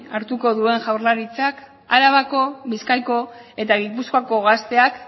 hartuko duen jaurlaritzak arabako bizkaiko eta gipuzkoako gazteak